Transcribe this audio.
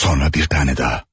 Sonra bir tane daha.